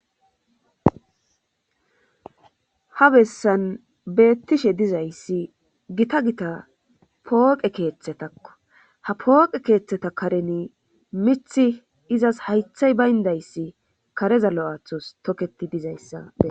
ha bessan beettishe dizayssi gita gita pooqe keeththetakko ha pooqe keeththeta kareni mithi izas haythay bayndayssi karezalo7aathos toketi dizayssa